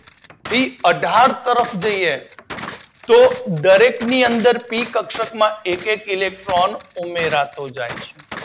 થી અધાર તરફ જઈએ તો દરેક ની અંદર પી કક્ષક માં એક એક ઇલેક્ટ્રોન ઉમેરાતો જાય છે.